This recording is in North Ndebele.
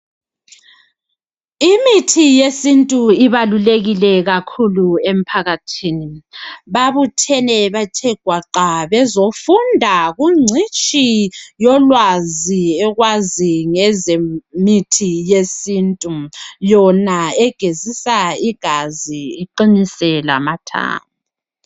Imithi yesintu ibalulekile kakhulu emphakathini .Babuthene bathe gwaqa bezofunda kungcitshi yolwazi ekwazi ngezemithi yesintu .Yona egezisa igazi iqinise lamathambo .